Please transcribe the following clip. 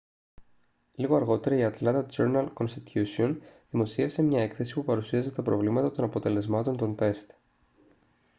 λίγο αργότερα η ατλάντα τζέρναλ-κονστιτούσιον δημοσίευσε μια έκθεση που παρουσίαζε τα προβλήματα των αποτελεσμάτων των τεστ